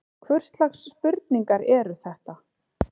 Hvurslags spurningar eru þetta?